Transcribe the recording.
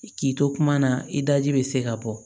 K'i to kuma na i daji bɛ se ka bɔ